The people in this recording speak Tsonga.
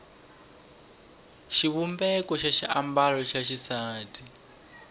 xivumbeko xa swiambalo swa xisati